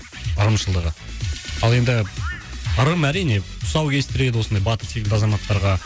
ырымшылдығы ал енді ырым әрине тұсау кестіреді осындай батыр секілді азаматтарға